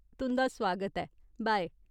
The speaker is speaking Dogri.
तुं'दा सुआगत ऐ। बाय !